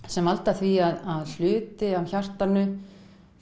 sem valda því að hluti af hjartanu